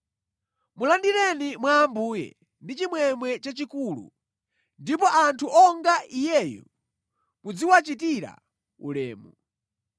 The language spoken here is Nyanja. Mulandireni mwa Ambuye ndi chimwemwe chachikulu, ndipo anthu onga iyeyu muziwachitira ulemu.